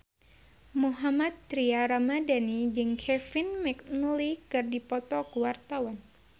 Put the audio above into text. Mohammad Tria Ramadhani jeung Kevin McNally keur dipoto ku wartawan